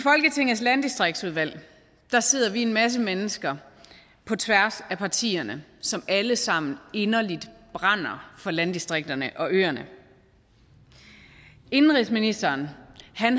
landdistriktsudvalget sidder vi en masse mennesker på tværs af partierne som alle sammen inderligt brænder for landdistrikterne og ørerne indenrigsministeren